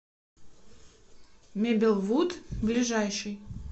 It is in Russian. мебелвуд ближайший